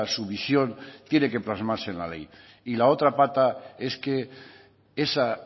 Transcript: su visión tiene que plasmarse en la ley y la otra pata es que esa